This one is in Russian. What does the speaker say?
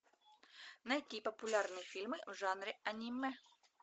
найти популярные фильмы в жанре аниме